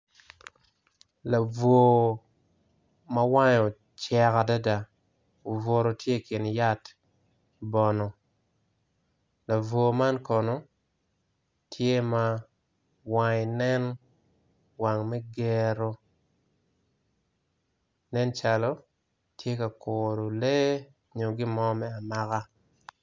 Labwor ma wange ocek adada obuto tye ikin yat bono labwor man kono tye ma wange nen wang me gero nen calo tye ka kuro lee nyo gin mo me amaka.